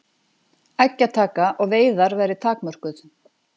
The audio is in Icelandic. Eggjataka og veiðar verði takmörkuð